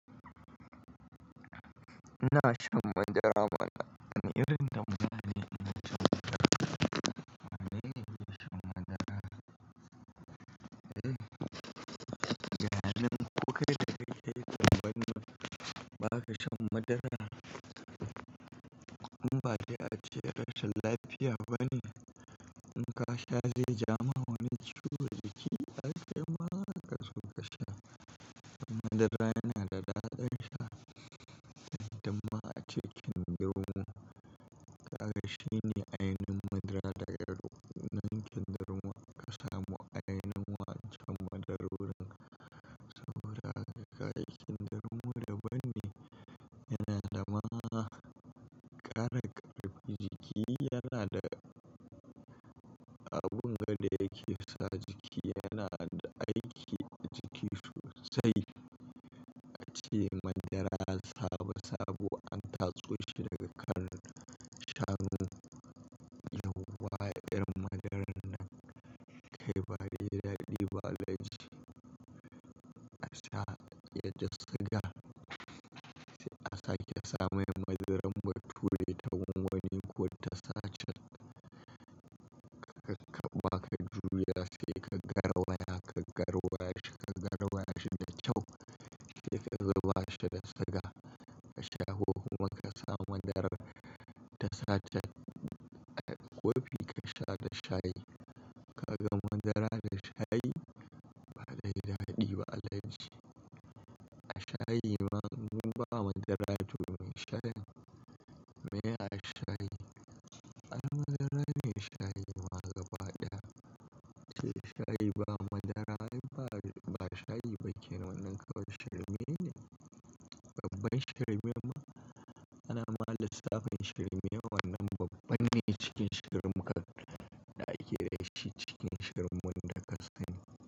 Ina shan madara mana. Wani irin tambaya ina shan madara. Amin ina shan madara. Yanayin ko kai da kai sai kawai ba ka shan madara kuma ba sai ace rashi lafiya ba ne. In ka sha zai ja ma wani ciwo da ke ai kai ma haka so ka sha. Madara yana da dadin sha, inda ma ace kindirmo. Kaga shine ainihin madara daga nan kindirmo ka samu ainihin wancan madarorin. Saboda haka kindirmo daban ne, yana da ma kara karfi jiki yana da abun ga da yake sa jiki yana da aiki a jiki sosai. Ace madara sabo sabo an tatso shi daga kan shanu. Yawwa irin madaran nan kai ba dai daɗi ba alaji. A sha yake da siga, sai a sake sa mai madaran bature ta gwangwani ko ta sachet. Karka ba ka juya sai ka garwaya, ka garwaya shi ka garwaya shi da kyau sai ka zuba shi da siga ka sha. Ko kuma ka sa madarar ta sachet a ƙofi ka sha da shayi. Kaga madara da shayi ba dai daɗi ba alaji a shayi ma in ba madara jume shayin. Me a shayi? Ai madara ne shayi ma gaba ɗaya. Sai shayi ba madara ai ba, ba shayi ba kenan wannan kawai shirme ne. Babbar shirme ma ana ma lissafin shirme wannan babbar ne cikin shirmeka da ake da shi cikin shirmen da ka sani.